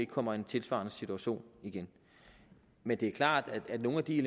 kommer i en tilsvarende situation igen men det er klart at nogle af de